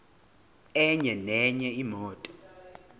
enye nenye imoto